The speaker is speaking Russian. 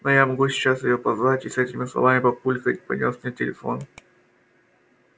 но я могу сейчас её позвать и с этими словами папулька понёс мне телефон